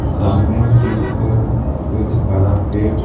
सामने की ओर कुछ बड़ा पेड़--